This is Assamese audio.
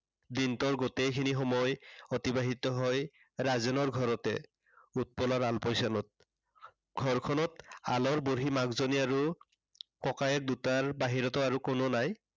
দিনটোৰ গোটেইখিনি সময় অতিবাহিত হয় ৰাজেনৰ ঘৰতে। উৎপলাৰ আলপোচানত। ঘৰখনত আলড় বুঢ়ী মাকজনী আৰু ককায়েক দুটাৰ বাহিৰেতো আৰু কোনো নাই।